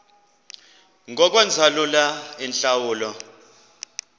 ngokwenza lula iintlawulo